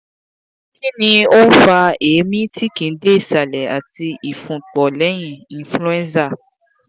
kini o n fa eemi ti kii de isale ati ifunpo leyin cs] influenza